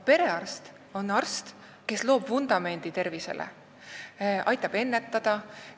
Perearst aga loob tervisevundamendi, aitab probleeme ennetada.